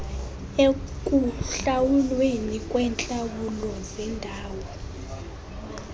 ekuhlawulweni kweentlawulo zendawo